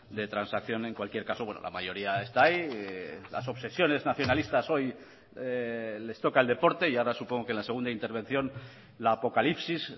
de transacción en cualquier caso bueno la mayoría está ahí las obsesiones nacionalistas hoy les toca el deporte y ahora supongo que la segunda intervención la apocalipsis